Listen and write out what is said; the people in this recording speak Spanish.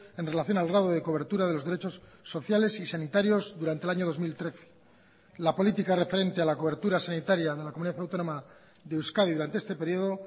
en relación al grado de cobertura de los derechos sociales y sanitarios durante el año dos mil trece la política referente a la cobertura sanitaria de la comunidad autónoma de euskadi durante este periodo